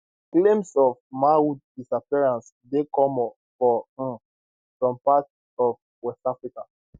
claims of manhood disappearances dey common for um some parts of west africa